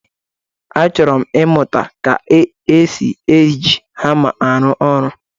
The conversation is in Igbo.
Achọrọmụ ịmụ ka e ji eji hama arụ ọrụ.